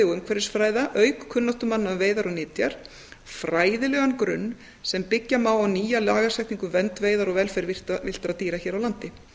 og umhverfisfræða auk kunnáttumanna um veiðar og nytjar fræðilegan grunn sem byggja má á nýja lagasetningu um vernd veiðar og velferð villtra dýra hér á landi